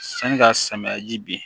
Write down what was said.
Sani ka samiya ji bin